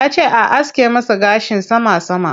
Yace a aske masa gashin sama sama.